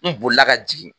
N bolila ka jigin